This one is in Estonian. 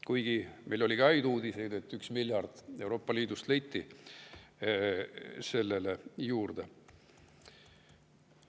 Kuigi meil oli ka häid uudiseid, et 1 miljard Euroopa Liidust leiti raha juurde.